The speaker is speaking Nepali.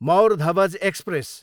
मौर धवज एक्सप्रेस